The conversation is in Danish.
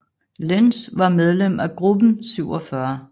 Lenz var medlem af Gruppe 47